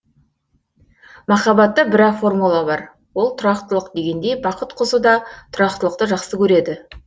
махаббатта бір ақ формула бар ол тұрақтылық дегендей бақыт құсы да тұрақтылықты жақсы көреді